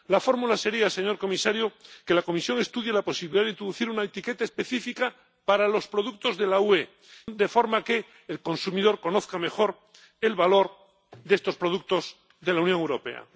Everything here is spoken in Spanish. La fórmula sería, señor comisario, que la Comisión estudie la posibilidad de introducir una etiqueta específica para los productos de la UE, de forma que el consumidor conozca mejor el valor de estos productos de la Unión Europea.